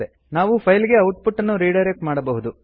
ನಾವು ಫೈಲ್ ಗೆ output ಅನ್ನು ರಿಡೈರೆಕ್ಟ್ ಮಾಡಬಹುದು